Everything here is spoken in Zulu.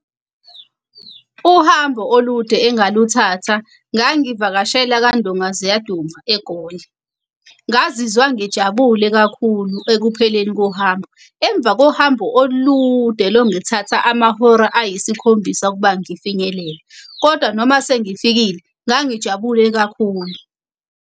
Uhambo olude engaluthatha ngangivakashela kandonga ziyaduma, eGoli. Ngazizwa ngijabule kakhulu ekupheleni kohambo. Emva kohambo olude longithatha amahora ayisikhombisa ukuba ngifinyelele, kodwa noma sengifikile ngangijabule kakhulu.